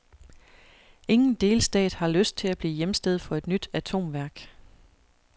Ingen delstat har lyst til at blive hjemsted for et nyt atomværk.